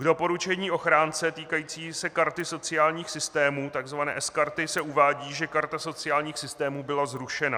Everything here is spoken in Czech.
K doporučení ochránce týkajícímu se karty sociálních systémů, tzv. sKarty, se uvádí, že karta sociálních systémů byla zrušena.